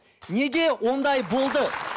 неге ондай болды